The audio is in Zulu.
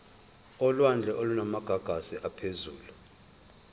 olwandle olunamagagasi aphezulu